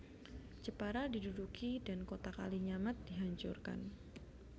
Jepara diduduki dan kota Kalinyamat dihancurkan